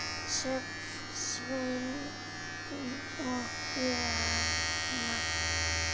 Sjöfn, Sveinn og Birna.